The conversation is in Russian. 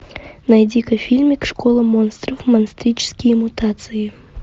найти ка фильмик школа монстров монстрические мутации